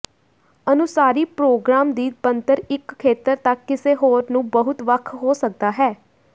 ਅਨੁਸਾਰੀ programme ਦੀ ਬਣਤਰ ਇੱਕ ਖੇਤਰ ਤੱਕ ਕਿਸੇ ਹੋਰ ਨੂੰ ਬਹੁਤ ਵੱਖ ਹੋ ਸਕਦਾ ਹੈ